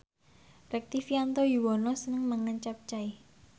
Rektivianto Yoewono seneng mangan capcay